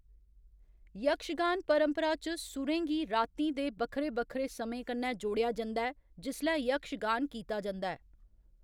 यक्षगान परंपरा च, सुरें गी रातीं दे बक्खरे बक्खरे समें कन्नै जोड़ेआ जंदा ऐ, जिसलै यक्षगान कीता जंदा ऐ।